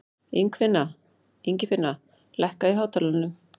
Ingifinna, lækkaðu í hátalaranum.